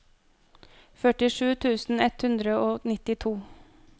førtisju tusen ett hundre og nittito